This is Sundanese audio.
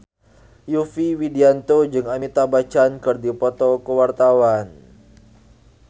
Yovie Widianto jeung Amitabh Bachchan keur dipoto ku wartawan